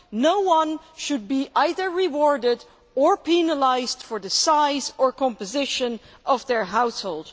No one should be either rewarded or penalised for the size or composition of their household.